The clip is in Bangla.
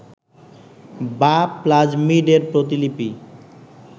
বা প্লাজমিড এর প্রতিলিপি